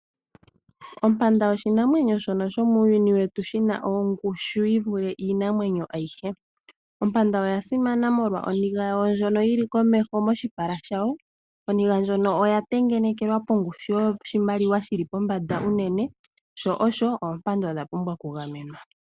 Ompanda oshinamwenyo shomiilongo yetu shono shi na ongushu yi vule iinamwenyo ayihe. Ompanda oya simana molwa oniga yawo ndjoka yi li moshipala shawo. Oniga ndjono oya tengenekelwa pongushu yoshimaliwa shi li pombanda unene. Sho osho, oompanda odha pumbwa okugamenwa.